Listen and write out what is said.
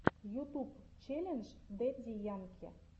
ютуб челлендж дэдди янки